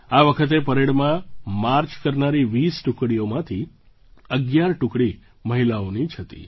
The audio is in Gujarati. આ વખતે પરેડમાં માર્ચ કરનારી 20 ટુકડીઓમાંથી 11 ટુકડી મહિલાઓની જ હતી